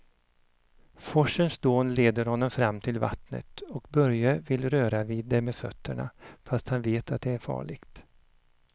Forsens dån leder honom fram till vattnet och Börje vill röra vid det med fötterna, fast han vet att det är farligt.